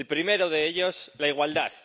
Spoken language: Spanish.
El primero de ellos la igualdad.